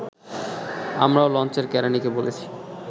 আমরাও লঞ্চের কেরানীকে বলেছি